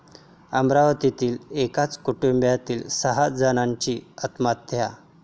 अमरावतीत एकाच कुटुंबातील सहा जणांची आत्महत्या